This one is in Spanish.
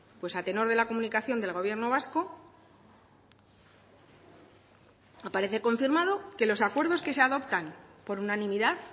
pues a tenor de la comunicación del gobierno vasco aparece confirmado que los acuerdos que se adoptan por unanimidad